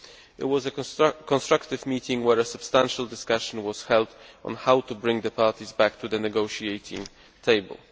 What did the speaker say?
It was a constructive meeting where a substantial discussion was held on how to bring the parties back to the negotiating table.